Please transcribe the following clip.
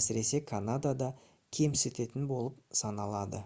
әсіресе канадада кемсітетін болып саналады